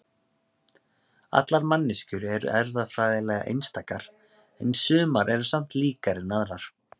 allar manneskjur eru erfðafræðilega einstakar en sumar eru samt líkari en aðrar